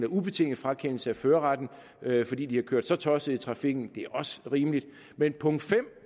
ubetinget frakendelse af førerretten fordi de har kørt så tosset i trafikken det er også rimeligt men punkt fem